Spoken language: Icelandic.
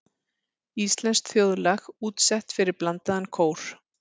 Íslenskt þjóðlag útsett fyrir blandaðan kór.